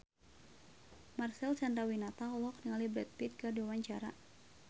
Marcel Chandrawinata olohok ningali Brad Pitt keur diwawancara